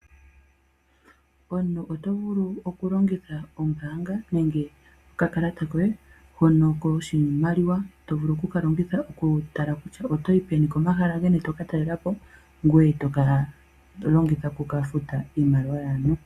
Omuntu oto vulu okulongitha ombaanga nenge okakalata koye hono koshimaliwa tovulu okukalongitha okutala kutya oto yi peni, okomahala geni tokatalela po ngoye tokala tolongitha okukafuta iimaliwa yaantu.